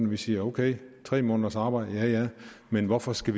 vi siger at ok tre måneders arbejde ja men hvorfor skal